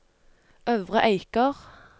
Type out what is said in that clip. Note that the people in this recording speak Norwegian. Øvre Eiker